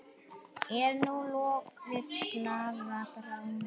Er nú lokuð glaða bráin?